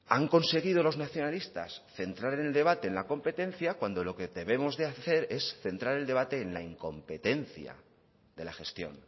han conseguido los nacionalistas centrar en el debate en la competencia cuando lo que debemos de hacer es centrar el debate en la incompetencia de la gestión